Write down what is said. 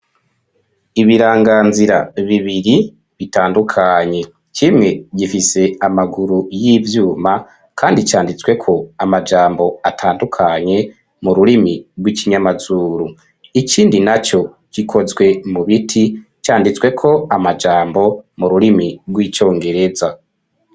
Ibiranganzira bibiri bitandukanye kimwe: gifise amaguru y'ivyuma kandi ccanditsweko amajambo atandukanye mu rurimi rw'ikinyamazuru ikindi naco gikozwe mu biti canditsweko amajambo mu rurimi rw'icongereza.